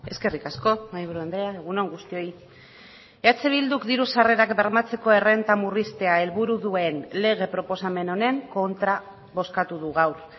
eskerrik asko mahaiburu andrea egun on guztioi eh bilduk diru sarrerak bermatzeko errenta murriztea helburu duen lege proposamen honen kontra bozkatu du gaur